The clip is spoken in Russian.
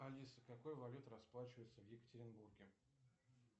алиса какой валютой расплачиваются в екатеринбурге